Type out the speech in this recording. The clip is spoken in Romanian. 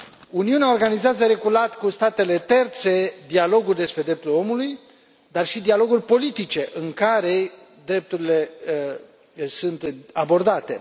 Uniunea organizează regulat cu statele terțe dialoguri despre drepturile omului, dar și dialoguri politice, în care drepturile sunt abordate.